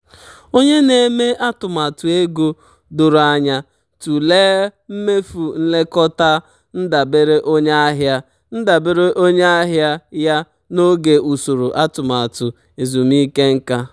onye na-eme atụmatụ nke ego doro anya tụlee mmefu nlekọta ndabere onye ahịa ndabere onye ahịa ya n'oge usoro atụmatụ ezumike nka.